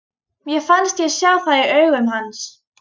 Mér fannst ég sjá það í augum hans.